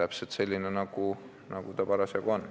täpselt selline, nagu see parasjagu on.